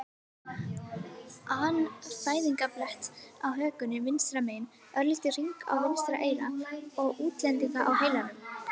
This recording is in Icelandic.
an fæðingarblett á hökunni vinstra megin, örlítinn hring í vinstra eyra og útlendinga á heilanum.